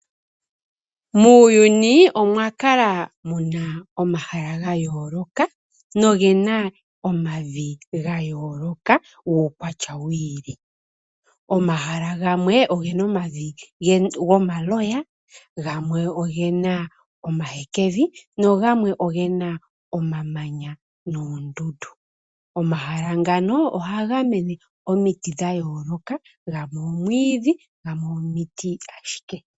Muuyuni omwa kala muna omahala gayoloka. No gena omavi gayoloka guukwatya wi ili. Omahala gamwe ogena omavi gomaloya. Gamwe ogena omahekevi nagamwe ogena omamanya noondundu. Omahala ngano ohaga mene omiiti dhayoloka. Gamwe omwiidhi gamwe omiiti ashike.